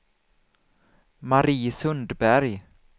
Marie Sundberg